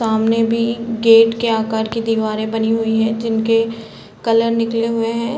सामने भी गेट के आकार की दीवारे बनी हुई हैं जिनके कलर निकले हुए हैं ।